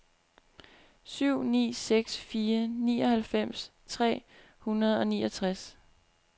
syv ni seks fire nioghalvfems tre hundrede og niogtres